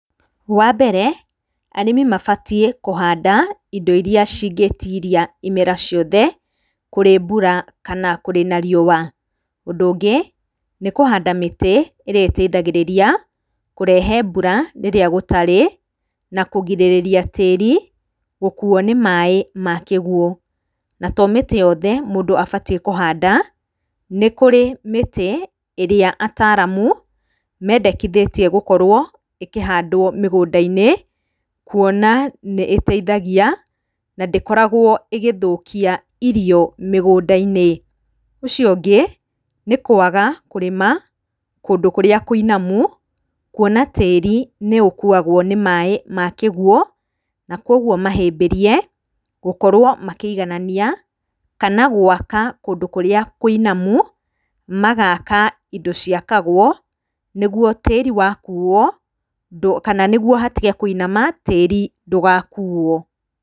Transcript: Wa mbere, arĩmi mabatiĩ kũhanda indo iria cingĩtiria imera ciothe, kũrĩ mbura kana kũrĩ na riũa. Ũndũ ũngĩ, nĩ kũhanda mĩtĩ ĩrĩa ĩteithagĩrĩra kũrehe mbura rĩrĩa gũtarĩ na kũgirĩrĩria tĩri gũkuuo nĩ maaĩ ma kĩguo, na to mĩtĩ yothe mũndũ abatiĩ kũhanda, nĩ kũrĩ mĩtĩ ĩrĩa ataaramũ mendekithĩtie gũkorwo ĩkĩhandwo mĩgũnda-inĩ, kuona nĩ ĩteithagia na ndĩkoragwo ĩgĩthũkia irio mĩgũnda-inĩ. Ũcio ũngĩ, nĩ kũaga kũrĩma kũndũ kũrĩa kũinamu, kuona tĩri nĩ ũkuagwo nĩ maaĩ ma kĩguo, na kũguo mahĩmbĩrie gũkorwo makĩiganania, kana gũaka kũndũ kũrĩa kũinamu, magaka indo ciakagwo nĩ guo tĩri wa kuuo kana nĩ guo hatige kũinama tĩri ndũgakuuo.